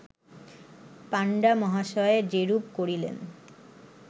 পাণ্ডা মহাশয় যেরূপ করিলেন